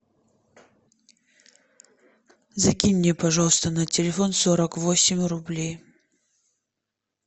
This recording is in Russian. закинь мне пожалуйста на телефон сорок восемь рублей